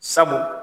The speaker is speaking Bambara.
Sabu